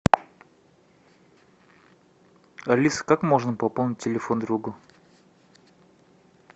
алиса как можно пополнить телефон другу